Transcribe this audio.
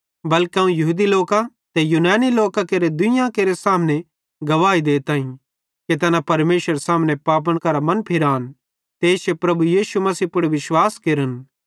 बल्के अवं यहूदी लोकां ते यूनानी लोकां केरे दुइयां केरे सामने गवाही देताईं कि तैना परमेशरेरे सामने पापन करां मनफिरान ते इश्शे प्रभु यीशु मसीह पुड़ विश्वास केरन